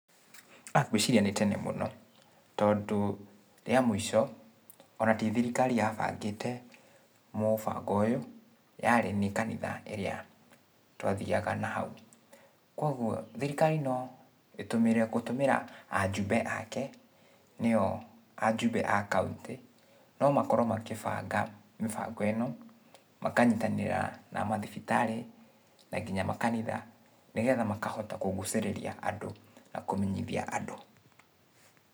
Ngwĩciria nĩ tenemũno, tondũ rĩa mũico, ona ti thirikari yabangĩte, mũbango ũyũ, yarĩ nĩ kanitha ĩrĩa twathiaga nahau, kuoguo, thirikari no ĩtũmĩre, gĩtũmĩra ajumbe ake, nĩo ajumbe a kauntĩ, no makorwo makĩbanga mĩbango ĩno, makanyitanĩra na mathibitarĩ, na kinya makanitha, nĩgetha makahota kũgucĩrĩria andũ, na kũmenyithia andũ.